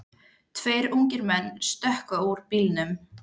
Tveir ungir menn stökkva út úr bílnum.